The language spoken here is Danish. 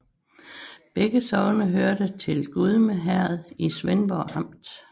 Begge sogne hørte til Gudme Herred i Svendborg Amt